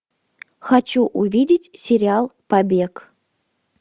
хочу увидеть сериал побег